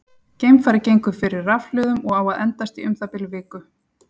Geimfarið gengur fyrir rafhlöðum og á að endast í um það bil viku.